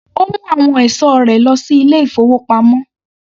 Ó mu àwọn ẹ̀sọ́ rẹ lọ sí ilé-ìfowópamọ́.